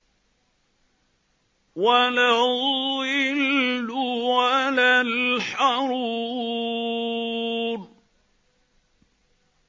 وَلَا الظِّلُّ وَلَا الْحَرُورُ